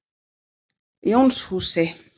Jónshúsi